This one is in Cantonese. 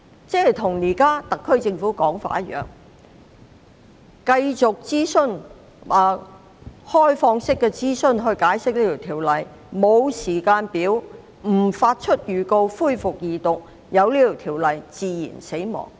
這無異於特區政府現時的說法，即繼續以開放式諮詢解釋《條例草案》，不設時間表，亦不發出恢復二讀辯論的預告，讓《條例草案》自然死亡。